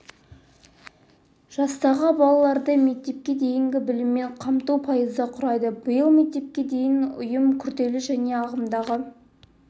жастағы балаларды мектепке дейінгі біліммен қамту пайызды құрайды биыл мектепке дейінгі ұйым күрделі және ағымдағы